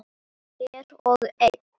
Hver og ein.